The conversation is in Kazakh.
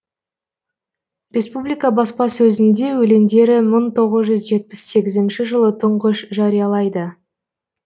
республика баспасөзінде өлеңдері мың тоғыз жүз жетпіс сегізінші жылы тұңғыш жариялайды